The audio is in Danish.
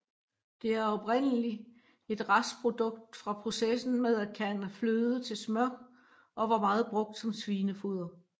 Det er oprindelig et restprodukt fra processen med at kærne fløde til smør og var meget brugt som svinefoder